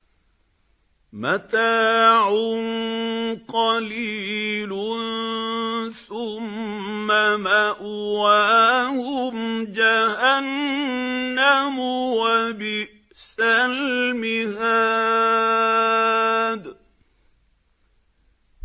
مَتَاعٌ قَلِيلٌ ثُمَّ مَأْوَاهُمْ جَهَنَّمُ ۚ وَبِئْسَ الْمِهَادُ